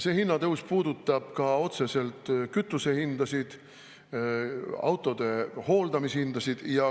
See hinnatõus puudutab ka otseselt kütusehindasid, autode hooldamise hindasid.